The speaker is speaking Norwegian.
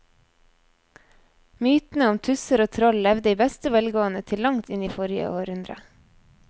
Mytene om tusser og troll levde i beste velgående til langt inn i forrige århundre.